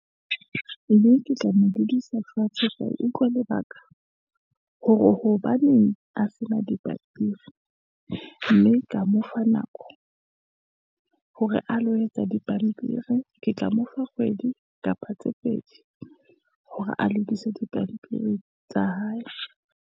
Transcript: Mme ke tla mo bodiesso fatshe, sa utlwe lebaka hore hobaneng a sena dipampiri, mme ka mofa nako hore a lo etsa dipampiri. Ke tla mo fa kgwedi kapa tse pedi, hore a lokise dipampiri tsa hae.